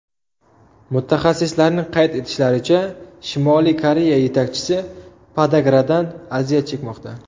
Mutaxassislarning qayd etishlaricha, Shimoliy Koreya yetakchisi podagradan aziyat chekmoqda.